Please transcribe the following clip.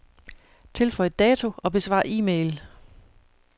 Tilføj dato og besvar e-mail.